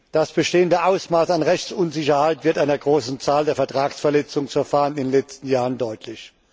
Das bestehende Ausmaß an Rechtsunsicherheit wird durch die große Zahl der Vertragsverletzungsverfahren in den letzten Jahren deutlich.